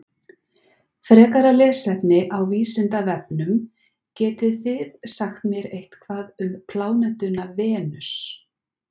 Frekara lesefni á Vísindavefnum: Getið þið sagt mér eitthvað um plánetuna Venus?